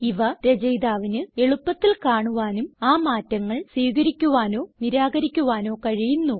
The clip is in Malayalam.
ഇവ രചയിതാവിന് എളുപ്പത്തിൽ കാണുവാനും ആ മാറ്റങ്ങൾ സ്വീകരിക്കുവാനോ നിരാകരിക്കുവാനോ കഴിയുന്നു